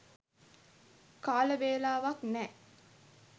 කාල වේලාවක් නෑ.